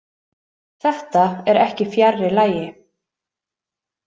Þetta er ekki fjarri lagi.